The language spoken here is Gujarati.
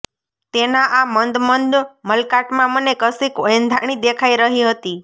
તેના આ મંદ મંદ મલકાટમાં મને કશીક એંધાણી દેખાઇ રહી હતી